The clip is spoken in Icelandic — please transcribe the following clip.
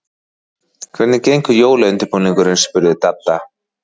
Hvernig gengur jólaundirbúningurinn? spurði Dadda.